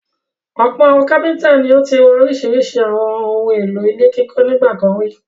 Ọ̀pọ̀ àwọn kápẹ́ńtà ni ó ti rà oríṣiríṣi àwọn ohun-èlò ilé kíkọ́ nígbà kan rí.